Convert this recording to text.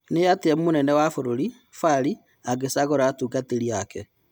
Ni atĩa munene wa bũrũri Fari angĩcagũra atungatĩri ake ?